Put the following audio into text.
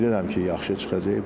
Bilirəm ki, yaxşı çıxacaq.